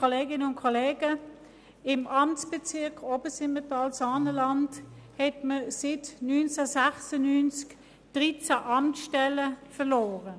Im Amtsbezirk Obersimmental-Saanenland hat man seit dem Jahr 1996 13 Amtsstellen verloren.